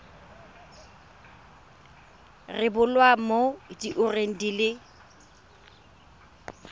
rebolwa mo diureng di le